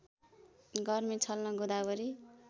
गर्मी छल्न गोदावरी